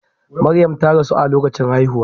Maryam ta rasu a lokacin haihuwa.